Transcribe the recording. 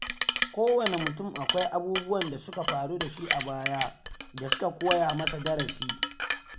Kowane mutum akwai abubuwan da suka faru da shi a baya da suka koya masa darasi.